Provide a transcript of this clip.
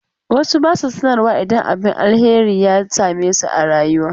Wasu ba su sanarwa idan abin alheri ya same su a rayuwa.